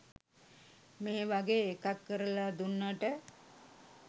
මේ වගේ එකක් කරලා දුන්නට